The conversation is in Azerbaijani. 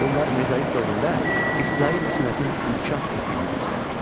Bunlar mezolit dövründə ibtidai incəsənətin inkişaf etdiyini göstərir.